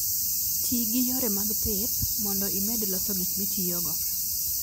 Ti gi yore mag pith mondo imed loso gik mitiyogo.